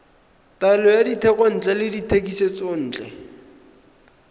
taolo ya dithekontle le dithekisontle